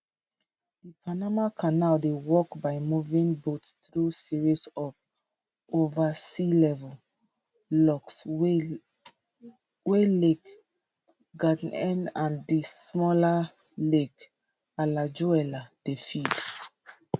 di panama canal dey work by moving boats through series of over sea level locks wey lake gatn and di smaller lake alajuela dey feed